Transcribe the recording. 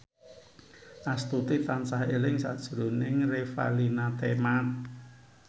Astuti tansah eling sakjroning Revalina Temat